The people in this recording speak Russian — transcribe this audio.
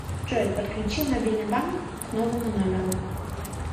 джой подключи мобильный банк к новому номеру